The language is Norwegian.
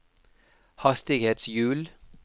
hastighetshjul